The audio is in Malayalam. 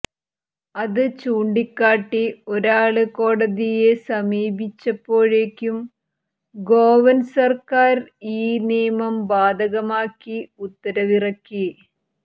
അത് ചൂണ്ടിക്കാട്ടി ഒരാള് കോടതിയെ സമീപിച്ചപ്പോഴേക്കും ഗോവന് സര്ക്കാര് ഈ നിയമം ബാധകമാക്കി ഉത്തരവിറക്കി